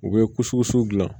U bɛ kusikuso dilan